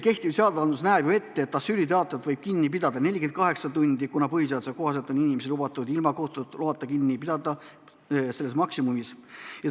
Kehtiv seadus näeb ette, et asüülitaotlejat võib kinni pidada 48 tundi, kuna põhiseaduse kohaselt on inimest lubatud ilma kohtu loata kinni pidada maksimaalselt nii kaua.